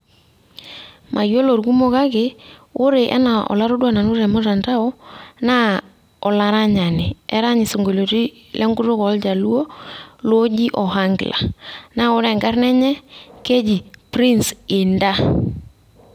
mayiolo ilkumok kake woore anaa olataduaa temtandao naa olaranyani, erany isionkolioni lenkutuk oljaluo looji ohangler naa keji enkarna enye Chris hinter